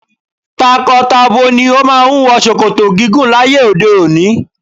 Tako-tabo ni o máà ń wọ ṣòkòtò gígùn láyé òde òni.